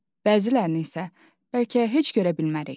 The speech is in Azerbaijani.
Bəzilərini isə bəlkə heç görə bilmərik.